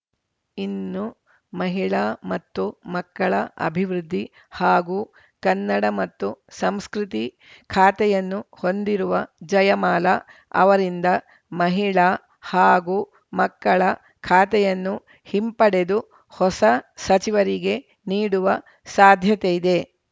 ಇನ್ನು ಮಹಿಳಾ ಮತ್ತು ಮಕ್ಕಳ ಅಭಿವೃದ್ಧಿ ಹಾಗೂ ಕನ್ನಡ ಮತ್ತು ಸಂಸ್ಕೃತಿ ಖಾತೆಯನ್ನು ಹೊಂದಿರುವ ಜಯಮಾಲಾ ಅವರಿಂದ ಮಹಿಳಾ ಹಾಗೂ ಮಕ್ಕಳ ಖಾತೆಯನ್ನು ಹಿಂಪಡೆದು ಹೊಸ ಸಚಿವರಿಗೆ ನೀಡುವ ಸಾಧ್ಯತೆಯಿದೆ